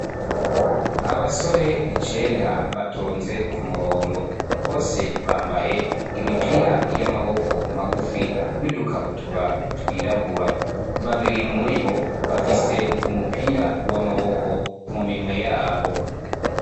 Abasore icenda batonze ku murongo. Bose bambaye imipira y'amaboko magufi n'udukabutura twirabura. Babiri muri bo bafise umupira w'amaboko mu minwe yabo.